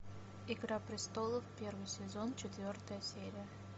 игра престолов первый сезон четвертая серия